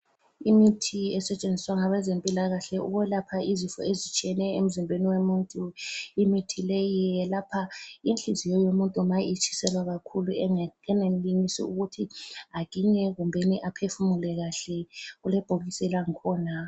Imithi esetshenziswa ngabezempilakahle ukwelapha izifo ezitshiyeneyo emzimbeni womuntu. Imithi leyi yelapha inhliziyo yomuntu ma itshiselwa kakhulu engenelisi ukuthi aginye kumbeni aphefumule kahle, kulebhokisi langikhona.